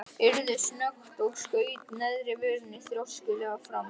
Urður snöggt og skaut neðri vörinni þrjóskulega fram.